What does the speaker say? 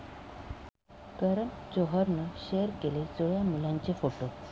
करण जोहरनं शेअर केले जुळ्या मुलांचे फोटो